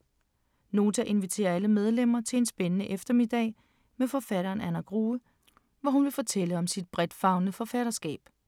Nota inviterer alle medlemmer til en spændende eftermiddag med forfatteren Anna Grue, hvor hun vil fortælle om sit bredtfavnende forfatterskab.